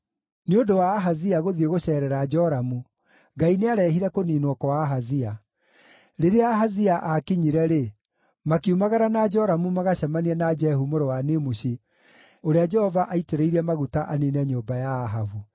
Nĩ ũndũ wa Ahazia gũthiĩ gũceerera Joramu, Ngai nĩarehire kũniinwo kwa Ahazia. Rĩrĩa Ahazia aakinyire-rĩ, makiumagara na Joramu magacemanie na Jehu mũrũ wa Nimushi, ũrĩa Jehova aaitĩrĩirie maguta aniine nyũmba ya Ahabu.